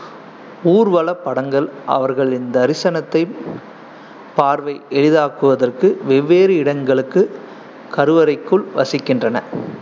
ஊர்வலப் படங்கள் அவர்களின் தரிசனத்தை பார்வை எளிதாக்குவதற்கு வெவ்வேறு இடங்களுக்கு கருவறைக்குள் வசிக்கின்றன.